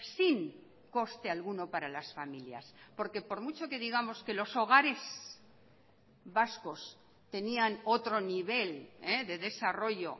sin coste alguno para las familias porque por mucho que digamos que los hogares vascos tenían otro nivel de desarrollo